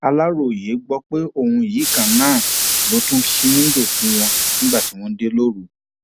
aláròye gbọ pé òun yìí kan náà ló tún ṣí wíńdò fún wọn nígbà tí wọn dé lóru